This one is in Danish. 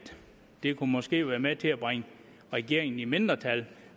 det måske kunne være med til at bringe regeringen i mindretal